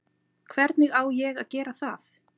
Hvernig á að ég að gera það?